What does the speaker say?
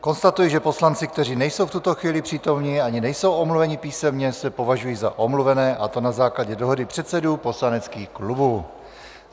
Konstatuji, že poslanci, kteří nejsou v tuto chvíli přítomni ani nejsou omluveni písemně, se považují za omluvené, a to na základě dohody předsedů poslaneckých klubů.